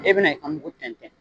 E bɛna i ka miugu tɛntɛn